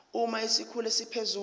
uma isikhulu esiphezulu